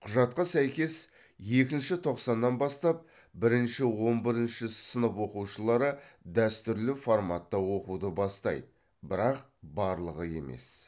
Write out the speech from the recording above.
құжатқа сәйкес екінші тоқсаннан бастап бірінші он бірінші сынып оқушылары дәстүрлі форматта оқуды бастайды бірақ барлығы емес